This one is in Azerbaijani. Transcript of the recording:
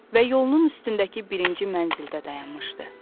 Və yolunun üstündəki birinci mənzildə dayanmışdı.